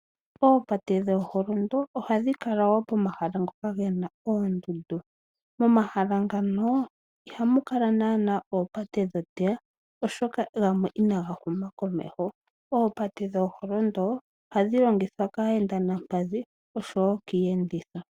Oopate dhooholondo ohadhi kala wo pomahala ngoka ge na oondundu. Momahala ngano ihamu kala naana oopate dhooteya oshoka gamwe inaga huma komeho. Oopate dhooholondo ohadhi longithwa kaayendi yokoompadhi osho wo kiiyenditho.